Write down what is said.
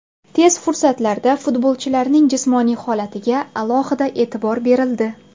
Tez fursatlarda futbolchilarning jismoniy holatiga alohida e’tibor berildi.